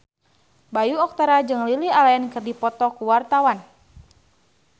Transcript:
Bayu Octara jeung Lily Allen keur dipoto ku wartawan